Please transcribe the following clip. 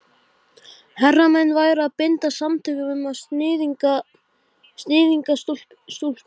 Svo var farið með hana til baka yfir ána.